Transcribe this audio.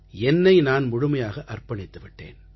என்னை நான் முழுமையாக அர்ப்பணித்து விட்டேன்